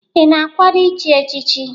Ị na-akwado ichi echichi?